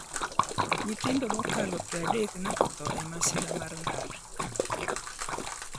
Nyithindo mokalo 30 ne otho e masira mar ndara